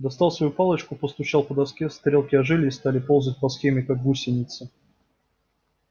достал свою палочку постучал по доске стрелки ожили и стали ползать по схеме как гусеницы